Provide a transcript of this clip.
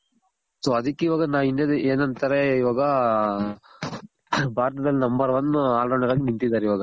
so ಅದಕ್ಕೆ ಇವಾಗನ India ದಲ್ ಏನಂತಾರೆ ಇವಾಗ ಭಾರತದಲ್ number one all rounder ಆಗ್ ನಿಂತಿದಾರ್ ಇವಾಗ